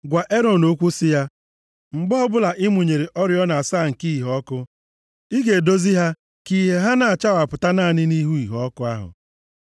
“Gwa Erọn okwu sị ya, ‘Mgbe ọbụla ị mụnyere oriọna asaa nke iheọkụ, ị ga-edozi ha ka ìhè ha na-enwupụta naanị nʼihu iheọkụ ahụ.’ ”